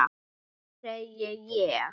Já, segi ég.